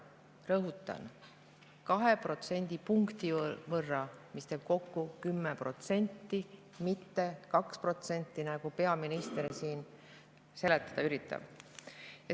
Rõhutan, 2 protsendipunkti, mis teeb kokku 10%, mitte 2%, nagu peaminister siin seletada üritab.